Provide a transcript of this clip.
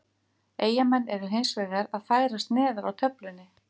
Eyjamenn eru hinsvegar að færast neðar á töflunni.